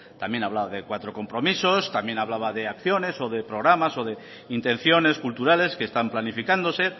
también hablaba de cuatro compromisos también hablaba de acciones o de programas o de intenciones culturales que están planificándose